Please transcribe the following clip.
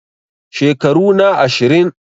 Shekaru na ashirin